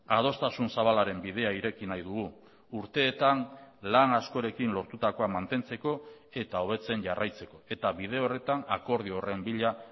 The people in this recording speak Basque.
adostasun zabalaren bidea ireki nahi dugu urteetan lan askorekin lortutakoa mantentzeko eta hobetzen jarraitzeko eta bide horretan akordio horren bila